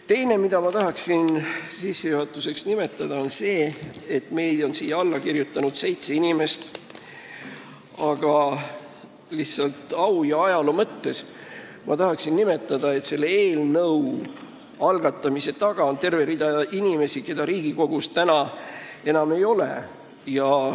Teine asi, mida ma tahan sissejuhatuseks nimetada, on see, et siia on alla kirjutanud seitse inimest, aga au ja ajaloo mõttes tuleb öelda, et selle eelnõu algatamise taga on terve rida inimesi, keda praegu enam Riigikogus ei ole.